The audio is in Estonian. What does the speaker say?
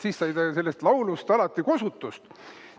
Siis ta sai sellest laulust alati kosutust.